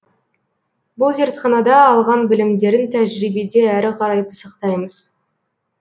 бұл зертханада алған білімдерін тәжірибеде әрі қарай пысықтаймыз